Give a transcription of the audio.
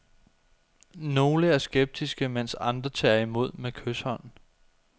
Nogle er skeptiske, mens andre tager imod med kyshånd.